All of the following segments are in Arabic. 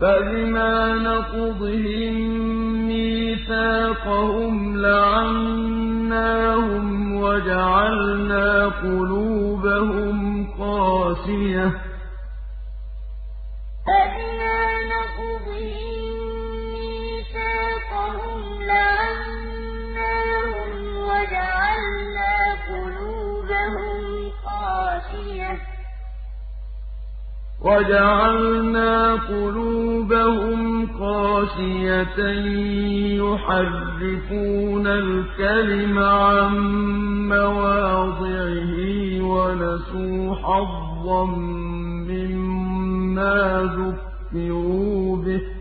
فَبِمَا نَقْضِهِم مِّيثَاقَهُمْ لَعَنَّاهُمْ وَجَعَلْنَا قُلُوبَهُمْ قَاسِيَةً ۖ يُحَرِّفُونَ الْكَلِمَ عَن مَّوَاضِعِهِ ۙ وَنَسُوا حَظًّا مِّمَّا ذُكِّرُوا بِهِ ۚ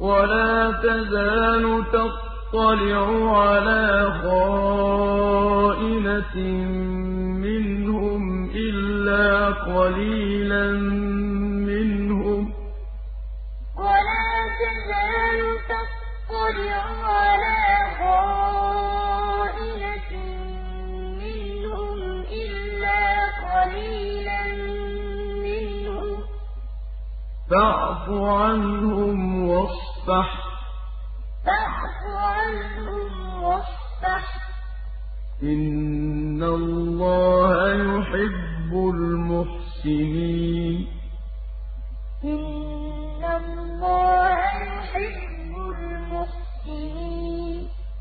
وَلَا تَزَالُ تَطَّلِعُ عَلَىٰ خَائِنَةٍ مِّنْهُمْ إِلَّا قَلِيلًا مِّنْهُمْ ۖ فَاعْفُ عَنْهُمْ وَاصْفَحْ ۚ إِنَّ اللَّهَ يُحِبُّ الْمُحْسِنِينَ فَبِمَا نَقْضِهِم مِّيثَاقَهُمْ لَعَنَّاهُمْ وَجَعَلْنَا قُلُوبَهُمْ قَاسِيَةً ۖ يُحَرِّفُونَ الْكَلِمَ عَن مَّوَاضِعِهِ ۙ وَنَسُوا حَظًّا مِّمَّا ذُكِّرُوا بِهِ ۚ وَلَا تَزَالُ تَطَّلِعُ عَلَىٰ خَائِنَةٍ مِّنْهُمْ إِلَّا قَلِيلًا مِّنْهُمْ ۖ فَاعْفُ عَنْهُمْ وَاصْفَحْ ۚ إِنَّ اللَّهَ يُحِبُّ الْمُحْسِنِينَ